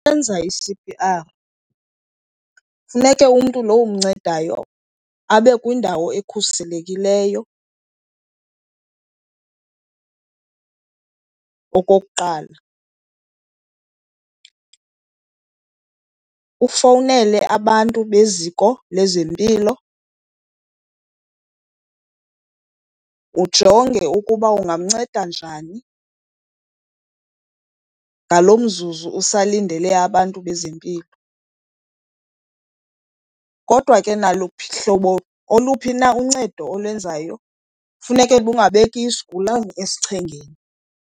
Ukwenza i-C_P_R funeke umntu lowo umncedayo abe kwindawo ekhuselekileyo okokuqala. Ufowunele abantu beziko lezempilo, ujonge ukuba ungamnceda njani ngalo mzuzu usalindele abantu bezempilo. Kodwa ke naluphi, hlobo oluphi na uncedo olenzayo funeke lungabeki isigulane esichengeni.